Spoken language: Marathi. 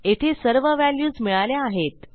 येथे सर्व व्हॅल्यूज मिळाल्या आहेत